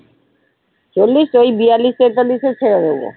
চল্লিশ তো এই বিয়াল্লিশ তেতাল্লিশ এ ছেড়ে দেব।